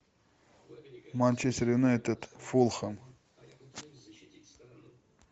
манчестер юнайтед фулхэм